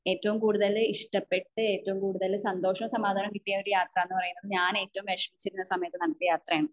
ഏറ്റവും കൂടുതൽ ഇഷ്ടപെട്ട ഏറ്റവും കൂടുതൽ സന്തോഷവും സമാധാനവും കിട്ടിയ അഹ് യാത്ര എന്ന് പറയുന്നത് ഞാൻ ഏറ്റവും വിഷമിച്ചിരുന്ന സമയത്തു നടത്തിയ യാത്രയാണ്